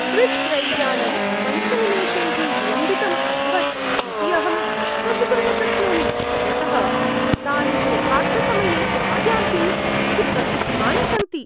Swiss रैल्यानं पञ्च निमेषैः विलम्बितम् अभवत् इति अहं विश्वसितुं न शक्नोमि, यतः तानि यथार्थसमये आयान्ति इति प्रसिद्धानि सन्ति।